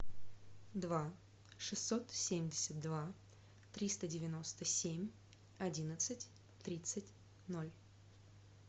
два шестьсот семьдесят два триста девяносто семь одиннадцать тридцать ноль